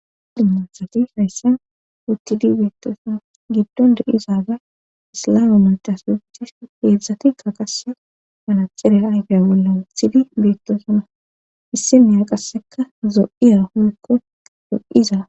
dimosati hayssen wuttidi beettoosana giddon de7izaaga islame madasuichish heedzdzati kaqase malaxirey aygey bolla wuthidi beettoosana issinnea qasseka zo7iya hoykko do7iza